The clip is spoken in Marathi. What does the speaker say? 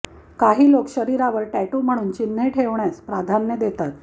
काही लोक शरीरावर टॅटू म्हणून चिन्ह ठेवण्यास प्राधान्य देतात